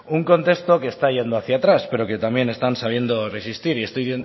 un contexto que está yendo hacia atrás pero que también están sabiendo resistir y